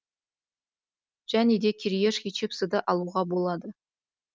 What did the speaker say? және де кириешки чипсыды алуға болады